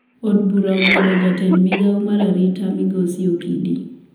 Od bura ogwelo jatend migao mar arita migosi okidi